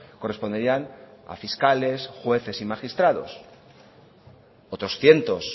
corresponderían a fiscales jueces y magistrados otros cientos